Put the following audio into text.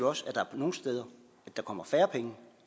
også at der nogle steder kommer færre penge